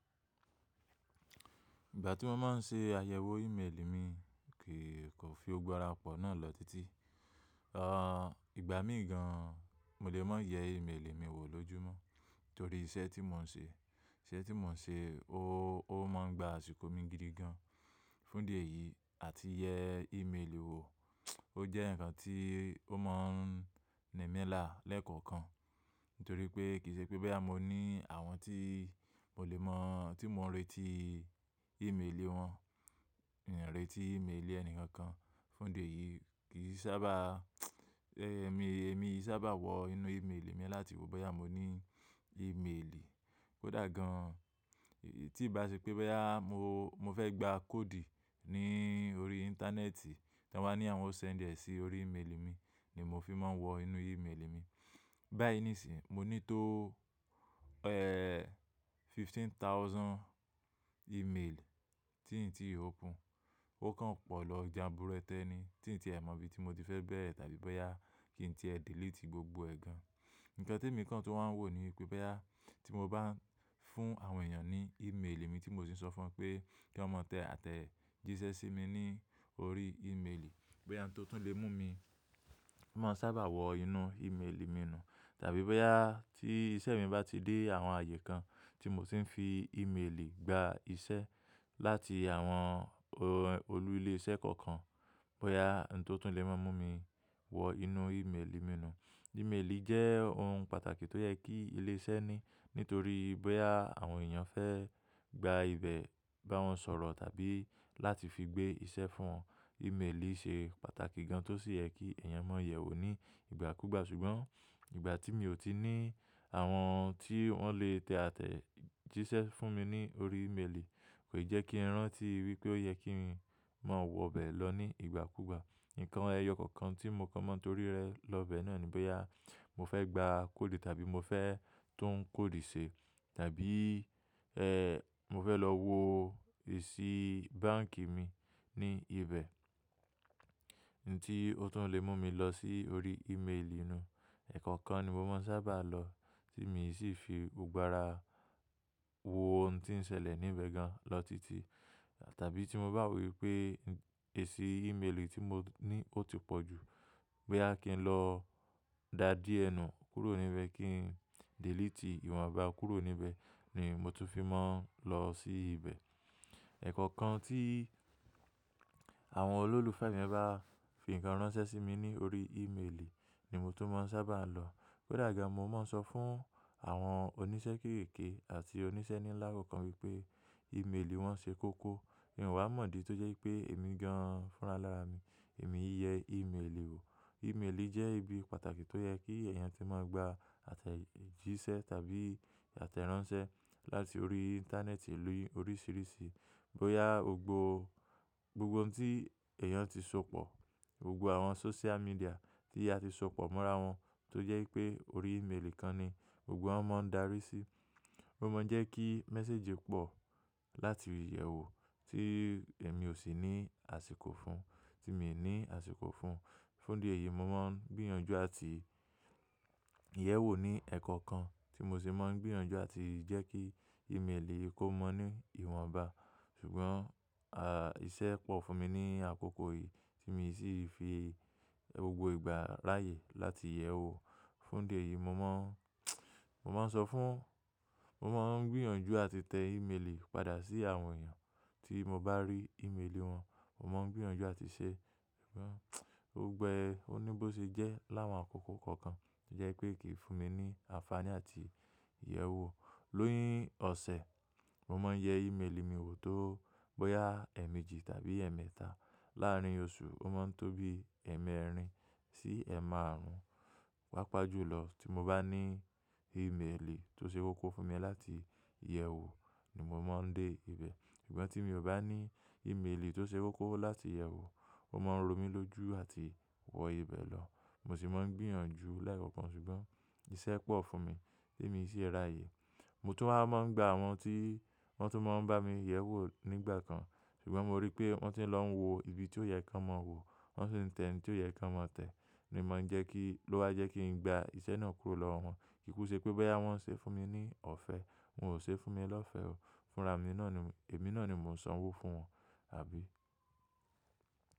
Ìgbà tí mọ máa ń ṣe àyẹ̀wò íméelì mi kìí kò fi gbogbo ará pọ̀ náà lọ títí. À, ìgbà mí gan an mo lè máa yẹ ímélì mi wò lójúmọ́ torí iṣẹ́ tí mò ń ṣe, iṣẹ́ tí mò ń ṣe, ó máa ń gba àsìkò mi gidi gan. Fún idí ẹ̀yìí àti yẹ ímélì wò, ó jẹ́ ǹkan tí ó máa ń ními lára lẹ́kọ̀ọ̀kan torí pé kìí ṣe pé bóyá mọ ní àwọn tí mo lè mọ̀, tí mo ń retí ímélì wọn, èmi o retí ímélì ẹni kan kan. Fún idí ẹ̀yìí mí sábà, ẹ́, èmi, èmi sábà wọ inú ímélì mi láti wò bóyá mo ní ímélì. Kó dà gán an tí bá ṣe pé boyà mọ, mọ fẹ́ gba kódì ní orí Íńtánẹ́ẹ̀tì, tó wà ní àwọn ó send dẹ sí orí ímélì mí ni mọ fi máa ń wọ inú ímélì mi. Bá yíi níṣìí mo ní tó, ẹ́, fifteen thousand ímélì tí ǹ ti open ó kàn pọ̀ lọ jáburete ní tí ǹ tiẹ mọ̀ ìbí tí mo ti fẹ́ bẹ̀rẹ̀ tàbí bóyá kí ǹ tiẹ delete gbogbo ẹ̀ gan. Ǹkan tí èmi kan tún wá wò ni pé boyà tí mo bá fún àwọn èèyàn ní ímélì mi tí mò ṣì sọ fún wọn pé kí wọ́n mọ tẹ àtẹ̀jíṣẹ́ sí mi ní orí ímélì, bóyá òun tó tún lè mú mi, máa sábà wọ inú ímélì mi nu tàbí bóyá tí iṣẹ́ mi bá ti dé àwọn ààyè kan tí mò tí ń fi ímélì gba iṣẹ́ láti àwọn olú ilé iṣẹ́ kọ̀ọ̀kan, bóyá òun tó tún lè máa mú mi wọ inú ímélì mi nu. Ímélì jẹ́ ohun pàtàkì tó yẹ kí ilé iṣẹ́ ní nítorí boyà àwọn èèyàn fẹ́ gba ibẹ̀ bá wọn sọ̀rọ̀ tàbí láti fi gbé iṣẹ́ fún wọn, ímélì ṣe pàtàkì gan tọ sí yẹ kí ẹ̀yàn má yèwò ní ìgbà kúgbà ṣùgbọ́n ìgbà tí mi ò tí ní àwọn tí wọ́n lè tẹ àtẹ̀jíṣẹ́ fún mi ní orí ímélì kò jẹ́ kí ń rántí wípé ó yẹ kí ń máa wọ bẹ̀ lọ ní ìgbà kúgbà. Ǹkan ẹyọ kọ̀ọ̀kan tí mọ kàn máa torí rẹ lọ bẹ̀ náà ni bóyá mo fẹ́ gba kódì tàbí mo fẹ́ tún kódì ṣe tàbí, ẹ́, mo fẹ́ lọ wò èsì báǹkì mi ní ibẹ̀, òun tí ó tún lè mú mi lọ sí orí ímélì nú. Ẹ̀kọ̀kan ni mo máa ń sábà lọ tí mi ṣì fi gbogbo ará wọ ohun tí ń ṣẹlẹ̀ níbẹ̀ gan lọ títí tàbí tí mo bá wo wipé èsì ímélì tí mo ní ó ti pọ̀jù, bóyá kí ń lọ dà díẹ nu kúrò níbẹ̀ kí ń delete ìwọnba kúrò níbẹ̀ ni mo tún fi máa ń lọ sí ibẹ̀. Ẹ̀kọ̀kan tí àwọn olólùfẹ́ mi bá fi ǹkan ránṣẹ́ sí mi ní orí ímélì ni mo tún máa ń sábà lọ. Kó dà gan an mo máa ń sọ fún àwọn oníṣẹ́ kéékèèké àti oníṣẹ́ ní láà kọ̀ọ̀kan wípé ímélì wọn ṣe kókó, mì ọ wà mọ̀ ìdí tó jẹ́ wipé èmi gan fún ra alára mi èmi yẹ ímélì wò. Ímélì jẹ́ ibi pàtàkì tó yẹ kí ẹ̀yàn tí máa gba àtẹ̀jíṣẹ́ tàbí àtẹ̀ránṣẹ́ láti orí Íńtánẹ́ẹ̀tì ní oríṣìíríṣìí bóyá gbògbó, gbogbo ohun tí èèyàn ti sopọ̀, gbogbo àwọn sóṣíà miḍíà tí a ti sopọ̀ mọ́ra wọn tó jẹ́ pé orí ímélì kan ni gbogbo wọn máa ń darí sí. Ó máa ń jẹ́ kí méséjì pọ̀ látí yèwò tí èmi ò sì ní àsìkò fún, tí mi ní àsìkò fún. Fún idí ẹ̀yìí mo máa ń gbìyànjú àti yèwò ní ẹ̀kọ̀kan tí mo sì máa ń gbìyànjú àti jẹ́ kí ímélì kò mọ́ ní ìwọnba. Ṣùgbọ́n, à, iṣẹ́ pọ̀ fún mi ní àkókò yìí tí mi ṣì fi gbogbo ìgbà ráyè láti yèwò. Fún idí ẹ̀yìí mo máa ń, mo máa ń sọ fún, mo máa ń gbìyànjú àti tẹ ímélì padà sí àwọn èèyàn tí mo bá rí ímélì wọn. Mọ máa ń gbìyànjú àti ṣe, ṣùgbọ́n, gbogbo ẹ́ oní bó ṣe jẹ́ láwọn àkókò kọ̀ọ̀kan tó jẹ́ pé kìí fún mi ní àǹfààní àti yèwò ní ọ̀sẹ̀ Mọ máa ń yẹ ímélì mi wò tó bóyá ẹ̀ẹ̀mejì tàbí ẹ̀ẹ̀mẹ́ta. Láàárín oṣù ó máa ń tó bí ẹ̀ẹ̀mẹ́rin sí ẹ̀ẹ̀màrùn. Pápá jú lọ tí mo bá ní ímélì tó ṣe kọ́kọ̀ fún mi láti yèwò ni mo máa ń dé ibẹ̀. Ṣùgbọ́n tí mi ò bá ní ímélì tó ṣe kókó láti yèwò o máa ń romí lójú àti wọ ibẹ̀ lọ. Mọ sì máa ń gbìyànjú lẹkankan ṣùgbọ́n iṣẹ́ pọ̀ fún mi tí mi ṣì ráyè. Mo tún wá máa ń gba àwọn tí wọ́n tún máa ń bá mi yẹ̀wò nígbà kan ṣùgbọ́n mo rí pé wọ́n ti lọ ń wo ibi tí ó yẹ kí wọn máa wò, wọ́n sì ń tẹ òun tí ó yẹ kí wọn máa tẹ ni ma ń jẹ́ kí, ló wá jẹ́ kí ń gba iṣẹ́ náà kúrò lọ́wọ́ wọn. Kíkú ṣe pé bóyá wọ́n ṣe fún mi ní ọ̀fẹ́, wọn ò ṣe fún mi lọ́fẹ́ o. Fúnra mi ní náà ni, èmi náà ni mò ń sanwó fún wọn, àbí.